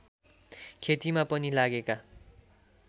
खेतीमा पनि लागेका